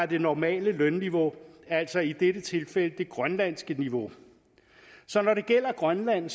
det normale lønniveau altså i dette tilfælde det grønlandske niveau så når det gælder grønland